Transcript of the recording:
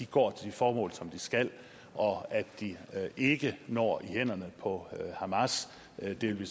går til de formål som de skal og at de ikke når i hænderne på hamas det vil vi